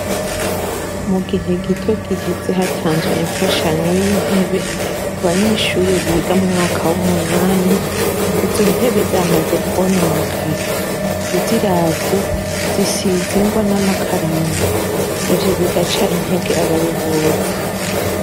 Mugihe gito giheze hatanzwe imfashanyo yintebe mubanyeshure biga muwumunani, izo ntebe zamaze kwononekara. Uziravye zisize ingwa namakaramu; ivyo bigaca intege abayobozi.